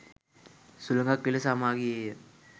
සුළඟක් විලස හමා ගියේය.